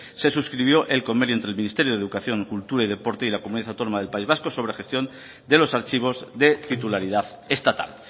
se suscribió el convenio entre el ministerio de educación cultura y deporte y la comunidad autónoma del país vasco sobre gestión de los archivos de titularidad estatal